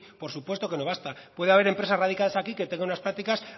por supuesto que no basta puede haber empresas radicadas aquí que tengan unas prácticas